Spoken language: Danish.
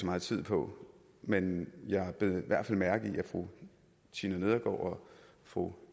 meget tid på men jeg bed i hvert fald mærke i at fru tina nedergaard fru